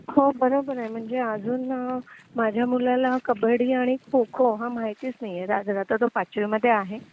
हो बरोबर आहे म्हणजे अजून माझ्या मुलाला कबड्डी आणि खो खो हा माहितीच नाहीए रादर आता तो पाचवी मध्ये आहे